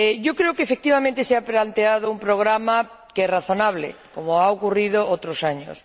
Creo que, efectivamente, se ha planteado un programa que es razonable, como ha ocurrido otros años.